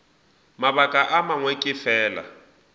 mabaka a mangwe ke fela